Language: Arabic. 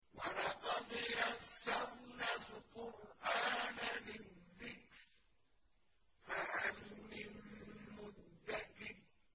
وَلَقَدْ يَسَّرْنَا الْقُرْآنَ لِلذِّكْرِ فَهَلْ مِن مُّدَّكِرٍ